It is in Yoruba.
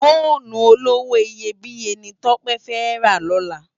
Fónú ólówó iyébiyé ni Tope fè rá lòlá